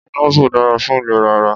Pineapple dára fún ìlera ara.